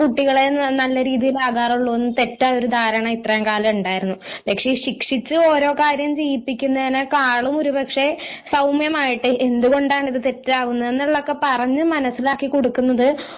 കുട്ടികളെ നല്ല രീതിയിലാകാറുള്ളൂ എന്നത് തെറ്റായ ഒരു ധാരണ ഇത്രയും കാലം ഉണ്ടായിരുന്നു പക്ഷേ ശിക്ഷിച്ച് ഓരോ കാര്യം ചെയ്യിപ്പിക്കുന്നതിനെക്കാളും ഒരു പക്ഷേ സൌമ്യമായിട്ട് എന്തുകൊണ്ടാണ് ഇത് തെറ്റാവുന്നേ എന്നുള്ളഒക്കെ പറഞ്ഞു മനസ്സിലാക്കി കൊടുക്കുന്നത്